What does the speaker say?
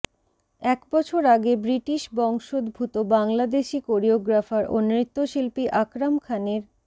এক বছর আগে ব্রিটিশ বংশোদ্ভূত বাংলাদেশি কোরিওগ্রাফার ও নৃত্যশিল্পী আকরাম খানের